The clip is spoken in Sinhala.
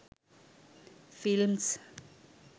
films